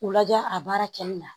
U lajɛ a baara kɛli la